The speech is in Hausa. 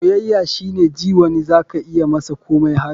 soyayya shine ji wani za ka iya masa komai har.